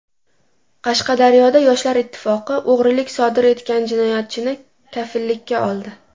Qashqadaryoda Yoshlar ittifoqi o‘g‘rilik sodir etgan jinoyatchini kafillikka oldi.